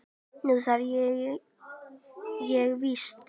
Nú þarf ég víst.